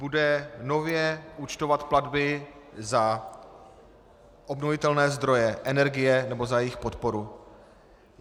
Bude nově účtovat platby za obnovitelné zdroje energie nebo za jejich podporu.